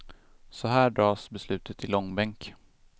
Så här dras beslutet i långbänk.